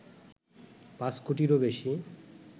৫ কোটিরও বেশি